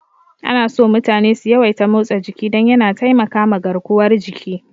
Anaso mutane su yawaita motsa jiki don yana taimakama garkuwar jiki.